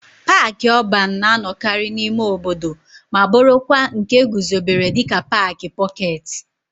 Paaki ọban na-anọkarị n'ime obodo ma bụrụkwa nke e guzobere dịka paaki pọketi.